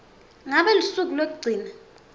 ngabe lusuku lwekugcina